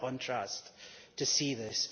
What a contrast to see this.